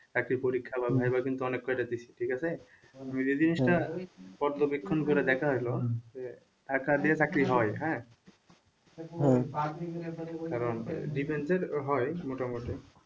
চাকরির পরীক্ষা বা viva কিন্তু অনেক কটাই দিছি ঠিক আছে ওই যে জিনিসটা পর্যবেক্ষণ করে দেখা হইলো যে টাকা দিয়ে চাকরি হয় হ্যাঁ কারণ defence এর হয় মোটামুটি